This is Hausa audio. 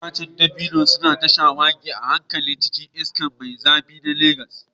Itacen dabino suna ta shawagi a hankali cikin iska mai zafi na Legas.